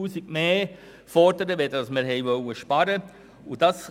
Wir fordern nun 300 000 Franken mehr, als wir sparen wollten.